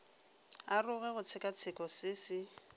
aroge go tshekatsheko se se